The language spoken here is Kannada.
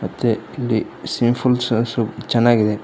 ಮತ್ತೆ ಇಲ್ಲಿ ಸ್ವಿಮಿಂಗ್ ಪೂಲ್ ಚೆನ್ನಾಗಿದೆ.